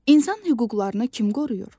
İnsan hüquqlarını kim qoruyur?